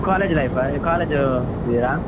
College life college ಹೋಗ್ತಿದೀರಾ?